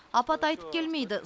апат айтып келмейді